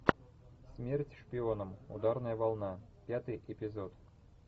смерть шпионам ударная волна пятый эпизод